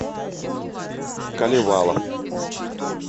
калевала